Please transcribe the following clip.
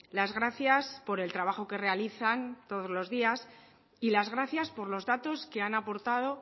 las gracias por el trabajo que realizan todos los días y las gracias por los datos que han aportado